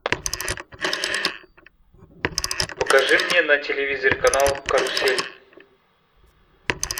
покажи мне на телевизоре канал карусель